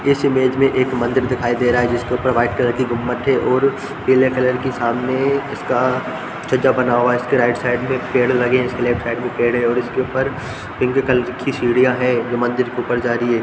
इस इमेज में एक मंदिर दिखाई दे रहा है जिसके ऊपर वाइट कलर की गुंबज थे और पीले कलर के सामने इसका छज्जा बना हुआ है इसकी राइट साइड में पेड़ लगे है इसके लेफ्ट साइड में पेड़ है इसके ऊपर पिंक कलर सीढ़ियाँ हैं जो ऊपर की ओर जा रही है।